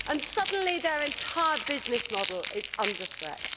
Suddenly their entire business model is under threat.